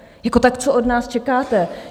Jako tak co od nás čekáte?